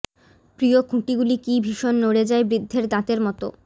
প্রিয় খুঁটিগুলি কী ভীষণ নড়ে যায় বৃদ্ধের দাঁতের মতো